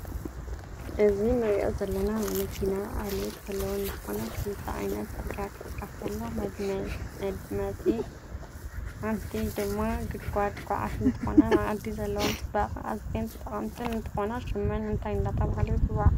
እዚ ንርኢ ዘለና ናይ መኪና ዓልየት ዘለወን እንትኮና ክልተ ኮይነን ፅርግያ ክስራሕ ተሎ መድመቲ ሓንትኢድማ ግድጋድ ኳዓቲ እንትኮና ንዓዲ ዘለወን ፅባቀ ኣዝየን ጠቀምት እንትኮና ሽመን እንታይ እደተበሃለ ይፅዋዓ?